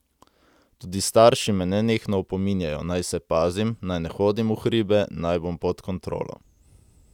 Tudi starši me nenehno opominjajo, naj se pazim, naj ne hodim v hribe, naj bom pod kontrolo.